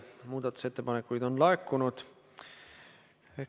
Muudatusettepanekuid on laekunud.